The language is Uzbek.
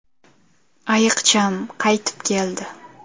Ayiqcham qaytib keldi!